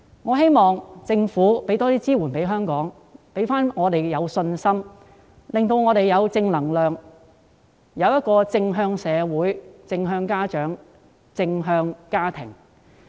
我希望政府向香港提供更多支援，令我們重拾信心及正能量，並有正向的社會、正向的家長及正向的家庭。